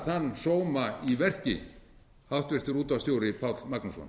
þann sóma í verki háttvirtur útvarpsstjóri páll magnússon